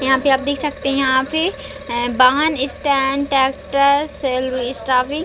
यहाँ पे आप देख सकते है यहाँ पे ऐ वाहन स्टैंड ट्रैक्टर सेल स्टेवि --